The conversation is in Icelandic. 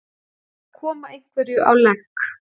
Að koma einhverju á legg